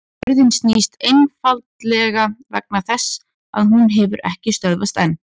jörðin snýst einfaldlega vegna þess að hún hefur ekki stöðvast enn!